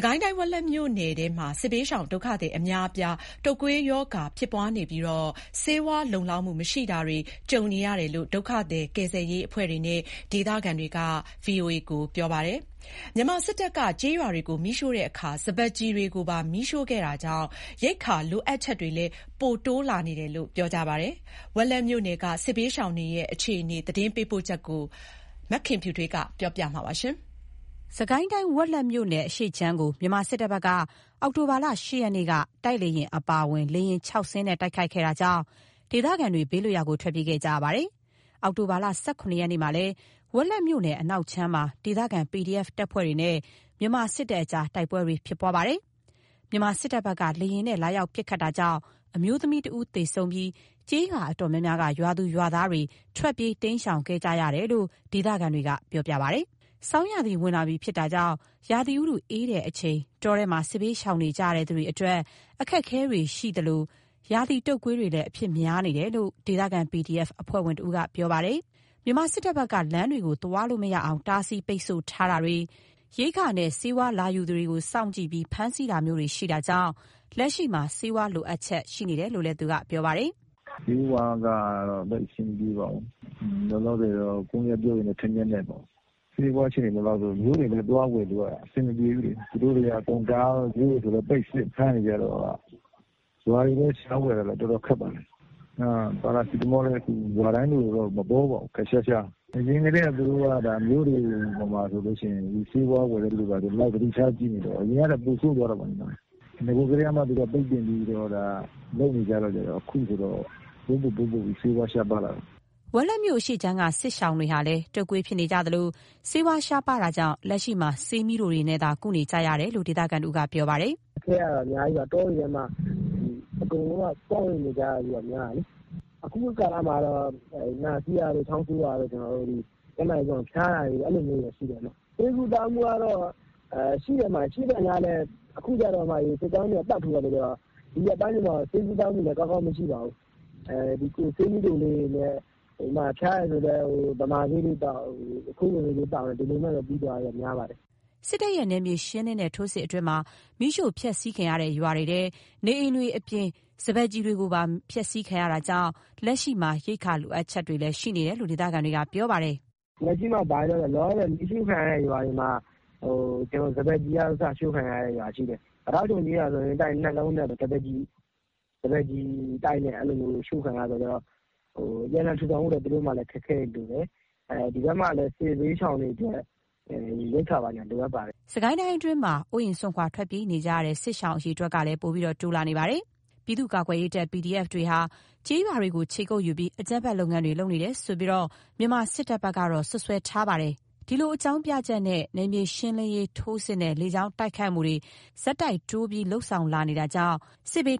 ကိုင်းတိုင်း ဝက်လက်မြို့နယ်ထဲမှာ စစ်ဘေးရှောင် ဒုက္ခသည်အများအပြား တုပ်ကွေးရောဂါဖြစ်ပွားနေပြီး ဆေးဝါးမလုံလောက်ဘူးလို့ ဒုက္ခသည် ကယ်ဆယ်ရေးအဖွဲ့တွေနဲ့ ဒေသခံတွေက ပြောပါတယ်။ ဆေးဝါးမလောက်ငတဲ့အတချိန်တည်းမှာ မြန်မာစစ်တပ်က ကျေးရွာတွေကို မီးရှို့ရာမှာ စပါးကျီတွေကိုပါ မီးရှို့ခဲ့တာကြောင့် ရိက္ခာလိုအပ်ချက်လည်း ပိုးတိုးလာနေတယ်လို့ ပြောကြပါတယ်။ ဝက်လက်မြို့နယ်က စစ်ဘေးရှောင်တွေရဲ့ အခြေအနေ သတင်းပေးပို့ချက်ကို မခင်ဖြူထွေးက တင်ပြပေးထားပါတယ်။ စစ်ကိုင်းတိုင်း ဝက်လက်မြို့နယ် အရှေ့ခြမ်းကို မြန်မာစစ်တပ်ဘက်က အောက်တိုဘာလ ၈ ရက်နေ့က တိုက်လေယဉ်အပါအဝင် လေယာဉ် ၆ စီးနဲ့ တိုက်ခိုက်ခဲ့တာကြောင့် ဒေသခံတွေ ဘေးလွတ်ရာကို ထွက်ပြေးခဲ့ကြရပါတယ်။ အောက်တိုဘာ ၁၇ ရက်နေ့မှာလည်း ဝက်လက်မြို့နယ်အနောက်ခြမ်းမှာ ဒေသခံ PDF တပ်ဖွဲ့တွေနဲ့ မြန်မာစစ်တပ်ကြား တိုက်ပွဲ ဖြစ်ပွားခဲ့ပါတယ်။ မြန်မာစစ်တပ်ဘက်က လေယာဉ်နဲ့ လာရောက်ပစ်ခတ်တာကြောင့် အမျိုးသမီးတဦး သေဆုံးပြီး ကျေးရွာ အတော်များများက ရွာသူရွာသားတွေ ထွက်ပြေးတိမ်းရှောင်ခဲ့ကြရတယ်လို့လည်း ဒေသခံတွေက ပြောပါတယ်။ ဆောင်းရာသီဝင်လာပြီဖြစ်တာကြောင့် ရာသီဥတုအေးလာချိန် တောထဲမှာ စစ်ဘေးရှောင်နေကြရသူတွေအတွက် အခက်အခဲတွေရှိနေကြသလို ရာသီတုပ်ကွေးလည်း အဖြစ်များကြတယ်လို့ ဒေသခံ PDF အဖွဲ့ဝင်တဦးက ပြောပါတယ်။ မြန်မာစစ်တပ်ဘက်က လမ်းတွေကို သွားလာလို့မရအောင် တားဆီးပိတ်ဆို့ထားတာတွေ ရိက္ခာနဲ့ ဆေးဝါးယူသူတွေကို စောင့်ကြည့်ပြီး ဖမ်းဆီးတာမျိုးတွေ ရှိနေတာကြောင့် လက်ရှိမှာ ဆေးဝါးလိုအပ်ချက်တွေ ရှိနေရတယ်လို့ သူက ပြောပါတယ်။ “ဆေးဝါးကတော့ သိပ်မရှိဘူး။ လောလောဆယ်ကို ကွမ်းရွက်ပြုတ်ရည်နဲ့ ထန်းလျက်နဲ့ပေါ့။ ဆေးဝါးအခြေအနေ လုံလောက်လားဆိုတော့ မြို့တွေဘက်ကို သွားဝယ်ဖို့က အဆင်မပြေဘူးဗျ။ သူတို့တွေက အကုန်- ဈေးတွေဘာတွေပိတ်စစ်၊ အကုန်ဖမ်းနေကြတော့ခါ ရွာတွေမှာ ရှာဝယ်ရတာတွေကလည်း တော်တော် ခက် ပါတယ်။ ပါရာစီတမောလည်း မပေါပါဘူး။ ရွာတိုင်းလိုလို ခပ်ရှားရှား။ အရင်ကတည်းက သူတို့က မြို့တွေပေါ်မှာဆိုလို့ရှိရင် ဆေးဝါးဝယ်တဲ့သူဆို မျက်စိဒေါက်ထောက် ကြည့်နေတော့ ခုကကျ ပိုဆိုးသွားတာပေါ့။ နဂိုကတည်းကမှ သူတို့က ပိတ်ပင်ပြီးတော့ လုပ်နေကြတော့ ခုဆို ပိုဆိုးပြီး ပိုပိုပြီး ဆေးဝါးရှားပါးလာတယ်။” ဝက်လက်မြို့ အရှေ့ခြမ်းက စစ်ရှောင်တွေဟာလည်း တုပ်ကွေးဖြစ်နေကြသလို ဆေးဝါးရှားပါးတာကြောင့် လက်ရှိမှာ ဆေးမြီးတိုတွေနဲ့သာ ကုသနေကြရတယ်လို့ ဒေသခံတဦးက ပြောပါတယ်။ “အခက်အခဲကတော့ အများကြီးပါ။ တောတွေထဲမှာ အကုန်လုံးက ပေါင်းပြီး နေကြရတာများတယ်လေ။ အခုကာလမှာကတော့ နှာစေးတာတွေ ချောင်းဆိုးတာတွေ ဖျားတာတွေ အဲ့လိုတွေကတော့ ရှိတယ်ဗျ။ ဆေးကုသမှုကတော့ ရှိတော့ရှိတယ် ရှိသော်ငြားလည်း အခုကျတော့ စစ်ကြောင်းတွေက ပတ်ထိုးနေတဲ့ခါကျတော့ ဒီရက်ပိုင်းတွေမှာ ဆေးကုသမှုကလည်း ကောင်းကောင်းမရှိပါဘူး။ ဆေးမြီးတိုလေးတွေနဲ့ ဖျားတယ်ဆိုရင်လည်း ဗမာဆေးလေးသောက် ကွမ်းရွက်ပြုတ်ရည်လေးသောက် အဲ့လိုလေးနဲ့ ပြီးသွားတာတွေလည်း များပါတယ်။” စစ်တပ်ရဲ့နယ်မြေရှင်းလင်းတဲ့ ထိုးစစ်အတွင်းမှာ မီးရှို့ဖျက်ဆီးခံရတဲ့ ရွာတွေမှာ နေအိမ်တွေအပြင် စပါးကျီတွေကိုပါ ဖျက်ဆီးခံရတာကြောင့် လက်ရှိမှာ ရိက္ခာလိုအပ်ချက်တွေလည်း ရှိနေကြတယ်လို့ ဒေသခံတွေက ပြောပါတယ်။ “လောလောဆယ် မီးရှို့ခံရတဲ့ ရွာတွေမှာ စပါးကျီတွေကအစ ရှို့ခံရတဲ့ ရွာတွေရှိတယ်။ ပိတောက်ချုံကျေးရွာဆိုရင် တိုက်နှစ်လုံးနဲ့ စပါးကျီတိုက်နဲ့ အဲ့လိုမျိုးရှို့ခံရတာမျိုးရှိတော့ ပြန်လည်ထူထောင်ဖို့ သူတို့မှာလည်း အခက်အခဲတွေရှိတယ်။ ဒီဘက်မှာလည်း စစ်ဘေးရှောင်တွေအတွက် ရိက္ခာဘာညာ လိုအပ်ပါတယ်။” စစ်ကိုင်းအတွင်းမှာ အိုးအိမ်စွန့်ခွာ ထွက်ပြေးနေကြရတဲ့ စစ်ရှောင်အရေအတွက်တွေကလည်း ပိုပြီးတိုးလာနေပါတယ်။ ပြည်သူ့ကာကွယ်ရေးတပ် PDF တပ်တွေဟာ ကျေးရွာတွေကို ခြေကုပ်ယူပြီး အကြမ်းဖက်လုပ်ငန်းတွေ လုပ်နေတယ်ဆိုပြီးတော့လည်း မြန်မာစစ်တပ်က စွပ်စွဲထားပါတယ်။ ဒီအကြောင်းပြချက်နဲ့ နယ်မြေရှင်းလင်းရေးထိုးစစ်နဲ့ လေကြောင်းတိုက်ခိုက်မှုတွေကို ဆက်တိုက်တိုးပြီး လုပ်လာနေတာကြောင့်လည်း စစ်ဘေး